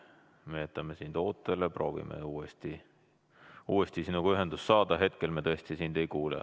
Me jätame sind ootele, proovime uuesti sinuga ühendust saada, hetkel me tõesti ei kuule.